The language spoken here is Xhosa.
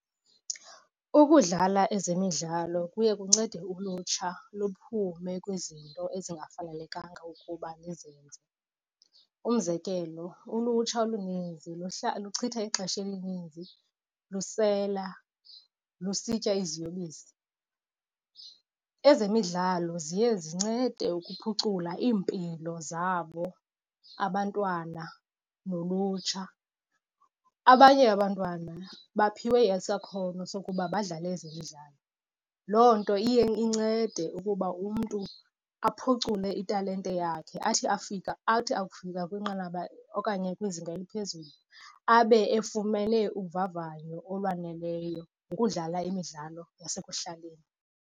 Ukudlala ezemidlalo kuye kuncede ulutsha luphume kwizinto ezingafanelekanga ukuba lizenze. Umzekelo, ulutsha oluninzi luchitha ixesha elininzi lusela, lusitya iziyobisi. Ezemidlalo ziye zincede ukuphucula iimpilo zabo abantwana nolutsha. Abanye abantwana baphiwe isakhono sokuba badlale ezemidlalo. Loo nto iye incede ukuba umntu aphucule italente yakhe athi afika, athi akufika kwinqanaba okanye kwizinga eliphezulu abe efumene uvavanyo olwaneleyo ngokudlala imidlalo yasekuhlaleni.